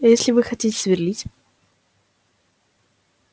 а если вы хотите сверлить